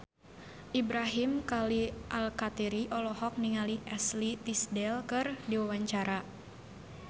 Ibrahim Khalil Alkatiri olohok ningali Ashley Tisdale keur diwawancara